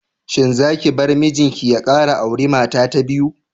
Shin zaki bar mijinki ya kara auri mata ta biyu?